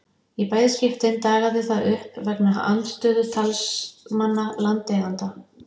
Í bæði skiptin dagaði það uppi vegna andstöðu talsmanna landeigenda.